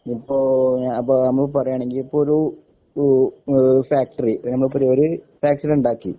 ഇപ്പോ ഞാ അപ്പോ നമ്മള് പറയണെങ്കി ഇപ്പോര് ഉം ഇഹ് ഫാക്ടറി നമ്മളിപ്പോവേറൊരു ഫാക്ടറിണ്ടാക്കി